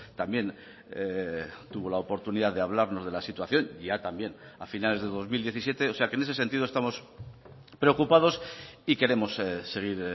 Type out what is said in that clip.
también tuvo la oportunidad de hablarnos de la situación ya también a finales de dos mil diecisiete o sea que en ese sentido estamos preocupados y queremos seguir